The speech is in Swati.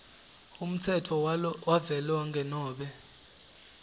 umtsetfo wavelonkhe nobe